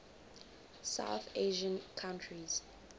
south asian countries